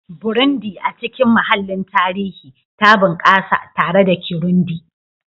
Burundi, a cikin mahallin tarihi, ta bunƙasa tare da Kirundi